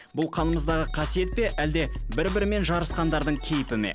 бұл қанымыздағы қасиет пе әлде бір бірімен жарсықандардың кейіпі ме